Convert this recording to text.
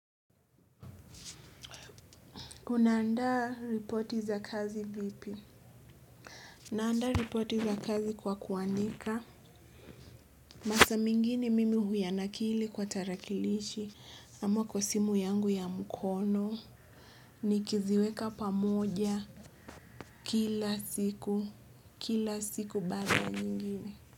Unaandaa ripoti za kazi vipi? Naandaa ripoti za kazi kwa kuwanika. Masaa mengine mimi huyanakili kwa tarakilishi. Ama kwa simu yangu ya mkono. Nikiziweka pamoja kila siku. Kila siku baada ya nyingine.